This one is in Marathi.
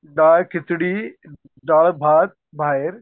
डाळ खिचडी, डाळ भात बाहेर